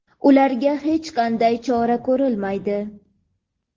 ularga hech qanday chora ko‘rilmaydi.